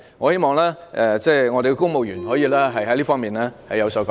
我希望公務員......可以在這方面有所改善。